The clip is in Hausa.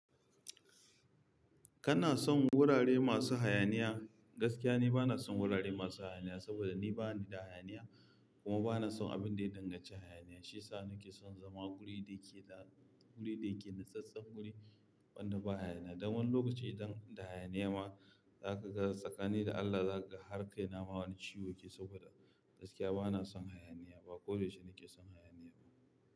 Kana son wurare masu hayaniya? Gaskiya ni bana son wurare masu hayaniya saboda ni bani da hayaniya kuma bana son abun da ya danganci hayaniya. Shi yasa na ke son zama guri da yake da, guri da yake nasassan guri wanda ba hayaniya. Dan wani lokaci idan da hayaniya ma zaka ga tsakani da Allah zakaga har kaina ma wani ciwo yake yi saboda gaskiya bana son hayaniya ba. Ko da yaushe na ke son hayaniya ba.